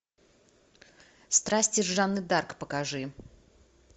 страсти жанны д арк покажи